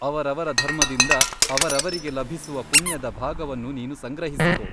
ಅವರವರ ಧರ್ಮದಿಂದ ಅವರವರಿಗೆ ಲಭಿಸುವ ಪುಣ್ಯದ ಭಾಗವನ್ನು ನೀನು ಸಂಗ್ರಹಿಸಿಕೊ.